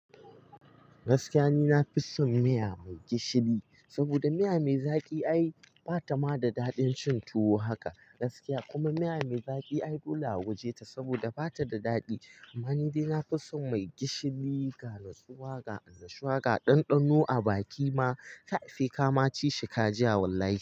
Gaskiya ni na fi son miya mai gishiri saboda miya mai zaƙi ai ba ta ma da daɗin cin tuwo haka gaskiya. Kuma miya mai zaƙi ai dole a waje ta saboda ba ta da daɗi. Amma ni dai na fi son mai gishiri ga natsuwa ga annashuwa ga ɗanɗano a baki ma sai kama cishi ka jiya wallahi.